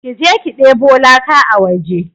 Je ki ki deɓo laka a waje!